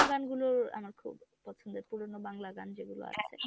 পুরোনো গানগুলো আমার খুব পছন্দের পুরোনো বাংলা গান যেগুলো আছে